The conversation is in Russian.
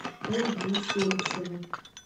ольгу усольцеву